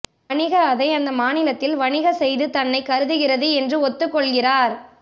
வணிக அதை அந்த மாநிலத்தில் வணிக செய்து தன்னை கருதுகிறது என்று ஒத்துக்கொள்கிறார்